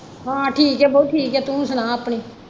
ਹਾਂ ਠੀਕ ਹੈ ਬਈ ਠੀਕ ਹੈ ਤੂੰ ਸੁਣਾ ਆਪਣਾ।